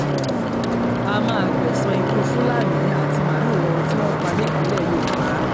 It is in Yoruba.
a máa gbẹ̀san ikú fúlàní àti màálù wọn tí wọ́n pa nílẹ̀ yorùbá